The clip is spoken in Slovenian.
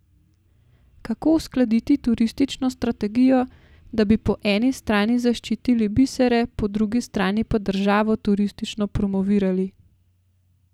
Kako uskladiti turistično strategijo, da bi po eni strani zaščitili bisere, po drugi strani pa državo turistično promovirali?